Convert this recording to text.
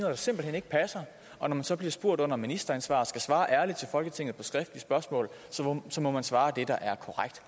der simpelt hen ikke passer og når man så bliver spurgt under ministeransvar og skal svare ærligt til folketinget på skriftlige spørgsmål må man svare det der er korrekt